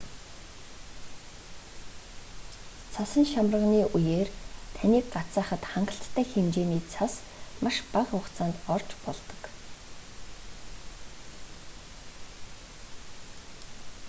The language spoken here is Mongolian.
цасан шамарганы үеэр таныг гацаахад хангалттай хэмжээний цас маш бага хугацаанд орж болдог